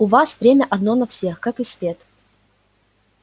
у вас время одно на всех как и свет